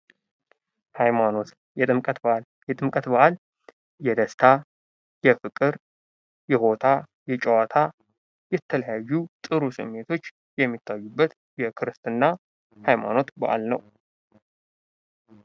ሃይማኖት የጥምቀት በዓል የጥምቀት በዓል የደስታ ፣ የፍቅር ፣የቦታ፣ የጨዋታ የተለያዩ ጥሩ ስሜቶች የሚታዩበት የክርስትና ሃይማኖት ባዕል ነው።